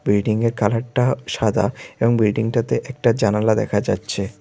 বিল্ডিংয়ে কালারটা সাদা এবং বিল্ডিংটাতে একটা জানালা দেখা যাচ্ছে।